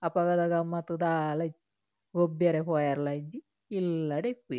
ಅಪಗದ ಗಮ್ಮತ್ ದಾಲ ಇಜ್ಜಿ ಗೊಬ್ಬೆರೆ ಪೋಯೆರೆಲ ಇಜ್ಜಿ ಇಲ್ಲಡೆ ಇಪ್ವೆರ್.